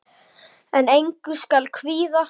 En engu skal kvíða.